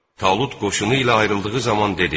Talut qoşunu ilə ayrıldığı zaman dedi: